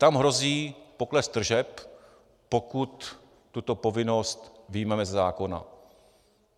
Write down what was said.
Tam hrozí pokles tržeb, pokud tuto povinnost vyjmeme ze zákona.